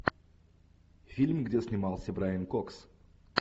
фильм где снимался брайан кокс